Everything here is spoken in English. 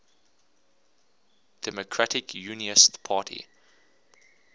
democratic unionist party